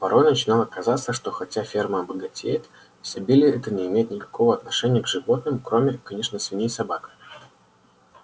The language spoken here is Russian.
порой начинало казаться что хотя ферма богатеет изобилие это не имеет никакого отношения к животным кроме конечно свиней и собак